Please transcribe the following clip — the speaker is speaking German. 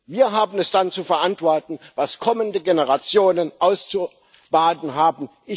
Wir haben es dann zu verantworten, was kommende Generationen auszubaden haben.